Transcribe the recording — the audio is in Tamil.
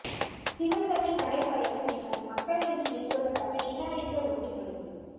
சிவந்தனின் நடைப்பயணம் எமது மக்கள் மீது மேற்கொள்ளப்பட்ட இன அழிப்பை உறுதிப்படுத்தும்